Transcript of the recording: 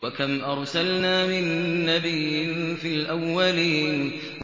وَكَمْ أَرْسَلْنَا مِن نَّبِيٍّ فِي الْأَوَّلِينَ